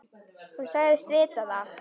Hún sagðist vita það.